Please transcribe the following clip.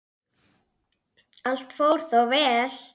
Allt fór þó vel.